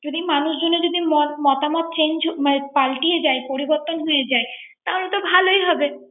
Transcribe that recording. যদি যদি মানুষজনের মতামত পাল্টিয়ে যায় পরিবর্তন হয়ে যায়। তাহলে তো ভালোই হবে